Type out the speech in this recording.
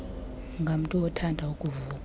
ngamntu othanda ukuvuka